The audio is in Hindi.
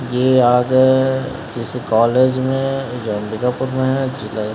ये आज जैसे कॉलेज में जो अंबिकापुर में है --